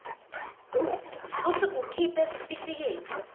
futsi ukhiphe sitifiketi